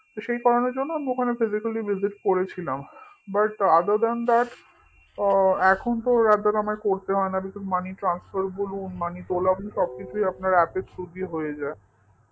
তো সেই কারণের জন্য আমি ওখানে physically visit করেছিলাম but other than that আ এখনতো rather r আমায় করতে হয় না because money transfer বলুন মানি তোলা বলুন সবকিছুই আপনার app এর through দিয়ে হয়ে যায়